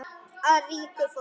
Af ríku fólki?